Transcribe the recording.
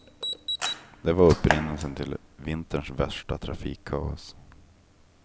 Det var upprinnelsen till vinterns värsta trafikkaos.